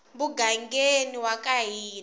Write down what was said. mugangeni wa ka n wina